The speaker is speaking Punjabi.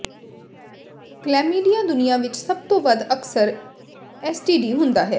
ਕਲੈਮੀਡੀਆ ਦੁਨੀਆਂ ਵਿੱਚ ਸਭ ਤੋਂ ਵੱਧ ਅਕਸਰ ਐਸਟੀਡੀ ਹੁੰਦਾ ਹੈ